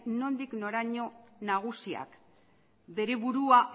nondik noraino nagusiak bere burua